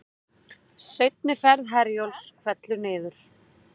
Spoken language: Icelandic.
Seinni ferð Herjólfs fellur niður